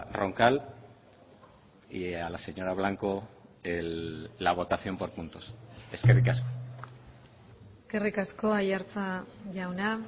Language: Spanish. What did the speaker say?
roncal y a la señora blanco la votación por puntos eskerrik asko eskerrik asko aiartza jauna